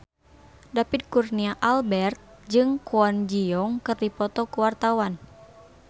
David Kurnia Albert jeung Kwon Ji Yong keur dipoto ku wartawan